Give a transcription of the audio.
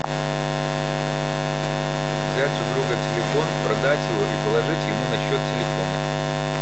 взять у друга телефон продать его и положить ему на счет телефона